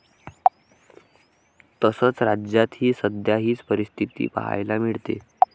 तसंच, राज्यात ही सध्या हीच परिस्थिती पाहायला मिळते.